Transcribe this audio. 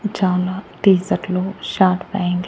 చాలా టీ-సర్ట్లు short pant --